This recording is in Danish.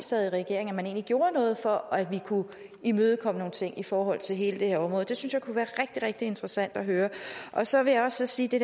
sad i regering egentlig gjorde noget for at vi kunne imødekomme nogle ting i forhold til hele det her område det synes jeg kunne være rigtig rigtig interessant at høre så vil jeg også sige til